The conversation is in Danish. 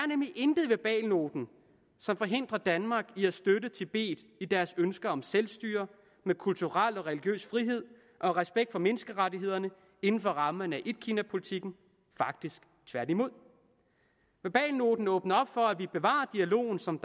nemlig intet i verbalnoten som forhindrer danmark i at støtte tibet i deres ønske om selvstyre med kulturel og religiøs frihed og respekt for menneskerettighederne inden for rammerne af etkinapolitikken faktisk tværtimod verbalnoten åbner op for at vi bevarer dialogen som